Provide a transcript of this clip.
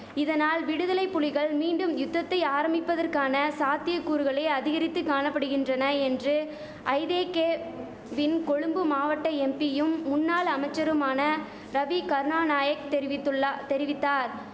இதனால் விடுதலை புலிகள் மீண்டும் யுத்தத்தை ஆரம்பிப்பதற்கான சாத்திய கூறுகளே அதிகரித்து காணபடுகின்றன என்று ஐதேகேவின் கொழும்பு மாவட்ட எம்பியும் முன்னாள் அமைச்சருமான ரவி கருணாநாயக் தெரிவித்துள்ளா தெரிவித்தார்